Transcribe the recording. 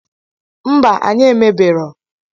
Mba anyi emebero